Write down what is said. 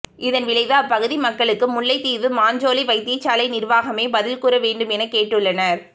இதன் விளைவு அப்பகுதி மக்களுக்கு முல்லைத்தீவு மாஞ்சோலை வைத்தியசாலை நிர்வாகமே பதில் கூற வேண்டும் என கேட்டுள்ளனர்